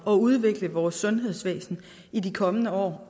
at udvikle vores sundhedsvæsen i de kommende år